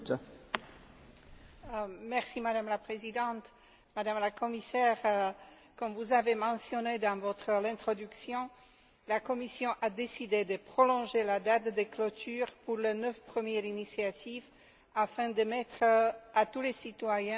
Madame la Présidente, Madame la Commissaire, comme vous l'avez mentionné dans votre introduction, la Commission a décidé de prolonger la date de clôture pour les neuf premières initiatives, afin de permettre à tous les citoyens une participation active.